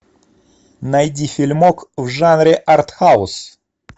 найди фильмок в жанре артхаус